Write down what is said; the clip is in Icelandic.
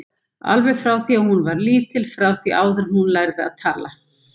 Alveg frá því að hún var lítil, frá því áður en hún lærði að tala.